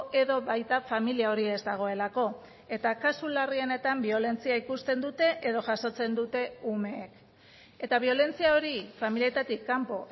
edo baita familia hori ez dagoelako eta kasu larrienetan biolentzia ikusten dute edo jasotzen dute umeek eta biolentzia hori familietatik kanpo